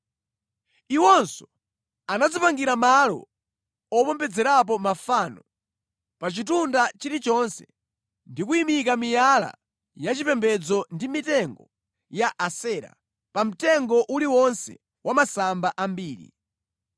Iwonso anadzipangira malo opembedzerapo mafano pa chitunda chilichonse ndi kuyimika miyala ya chipembedzo ndi mitengo ya Asera pa mtengo uliwonse wa masamba ambiri.